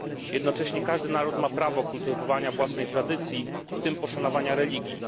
Jednocześnie każdy naród ma prawo kultywowania własnej tradycji, w tym poszanowania religii.